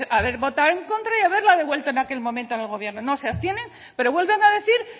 haber votado en contra y haberla devuelto en aquel momento en el gobierno no se abstienen pero vuelven a decir